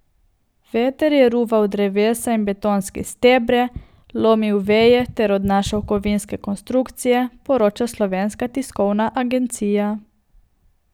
Veter je ruval drevesa in betonske stebre, lomil veje ter odnašal kovinske konstrukcije, poroča Slovenska tiskovna agencija.